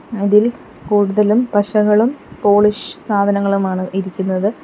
അതിൽ കൂടുതലും പശകളും പോളിഷ് സാധനങ്ങളുമാണ് ഇരിക്കുന്നത്.